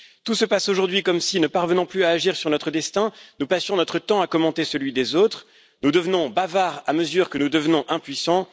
Tout se passe aujourd'hui comme si, ne parvenant plus à agir sur notre destin, nous passions notre temps à commenter celui des autres, comme si nous devenions bavards à mesure que nous devenons impuissants.